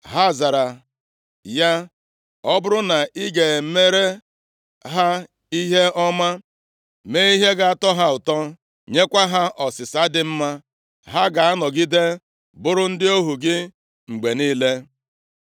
Ha zara ya, “Ọ bụrụ na ị ga-emere ha ihe ọma, mee ihe ga-atọ ha ụtọ, nyekwa ha ọsịsa dị mma, ha ga-anọgide bụrụ ndị ohu gị mgbe niile.”